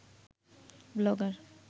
blogger